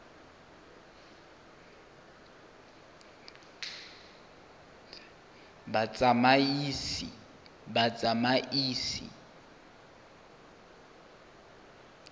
batsamaisi